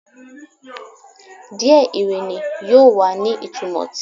Diẹ Irini yoo wa ni itumọ ti